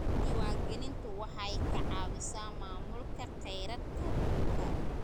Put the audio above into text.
Diiwaangelintu waxay ka caawisaa maamulka khayraadka dhulka.